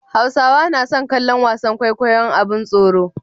Hausawa nason kallon wasan kwaikwayon abin tsoro